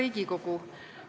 Hea Riigikogu!